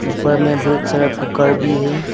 ऊपर में बहुत सारा कूकर भी है।